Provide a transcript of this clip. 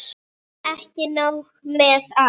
Ekki nóg með að